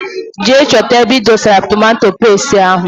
Jee chọta ebe idosara tomato pestie ahụ!!!!!